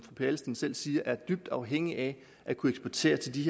adelsteen selv siger er dybt afhængigt af at kunne eksportere til de